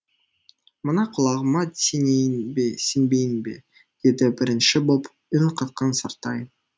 мына құлағыма сенейін бе сенбейін бе деді бірінші боп үн қатқан сартай